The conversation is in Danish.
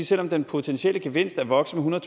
selv om den potentielle gevinst er vokset med